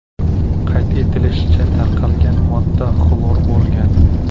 Qayd etilishicha, tarqalgan modda xlor bo‘lgan.